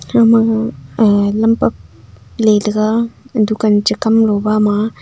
ama lampak letega dukan che kamlu bama.